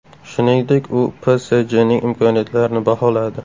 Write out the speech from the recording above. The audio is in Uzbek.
Shuningdek, u PSJning imkoniyatlarini baholadi .